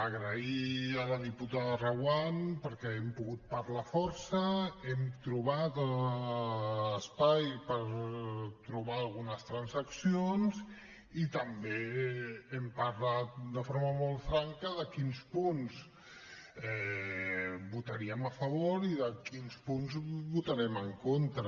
agrair a la diputada reguant perquè hem pogut parlar força hem trobat espai per trobar algunes transaccions i també hem parlat de forma molt franca de quins punts votaríem a favor i de quins punts votarem en contra